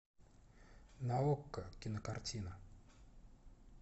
на окко кинокартина